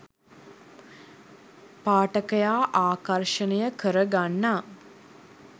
පාඨකයා ආකර්ෂණය කරගන්නා